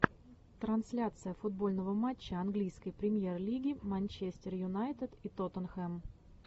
трансляция футбольного матча английской премьер лиги манчестер юнайтед и тоттенхэм